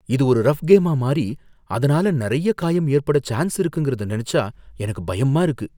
இது ஒரு ரஃப் கேமா மாறி அதனால நறைய காயம் ஏற்படச் சான்ஸ் இருக்குங்கிறத நினச்சா எனக்கு பயமா இருக்கு.